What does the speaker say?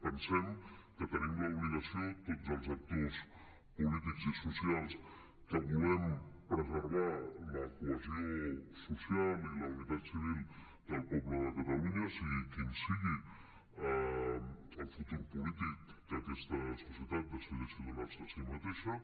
pensem que tenim l’obligació tots els actors polítics i socials que volem preservar la cohesió social i la unitat civil del poble de catalunya sigui quin sigui el futur polític que aquesta societat decideixi donar se a si mateixa